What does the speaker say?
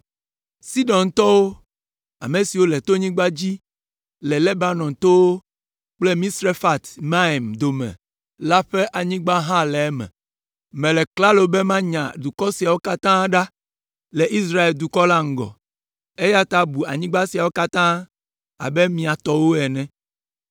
“Sidontɔwo, ame siwo le tonyigba la dzi le Lebanon towo kple Misrefat Maim dome la ƒe anyigba hã le eme. Mele klalo be manya dukɔ siawo katã ɖa le Israel dukɔ la ŋgɔ, eya ta bu anyigba siawo katã abe mia tɔwo ene,